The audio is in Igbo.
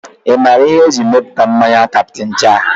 Ị maara ihe eji emepụta mmanya Captain jack?